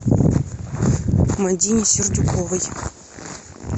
мадине сердюковой